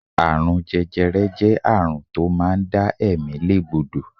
Àrùn jẹjẹrẹ jẹ́ àrùn tó máa ń dá ẹ̀mí lé gbódò.